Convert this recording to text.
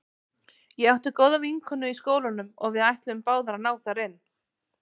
Ég átti góða vinkonu í skólanum og við ætluðum báðar að ná þar inn.